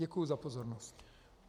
Děkuju za pozornost.